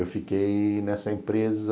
Eu fiquei nessa empresa...